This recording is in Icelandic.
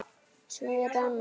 Svo er annað.